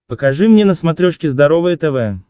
покажи мне на смотрешке здоровое тв